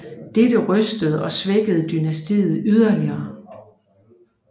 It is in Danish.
Dette rystede og svækkede dynastiet yderligere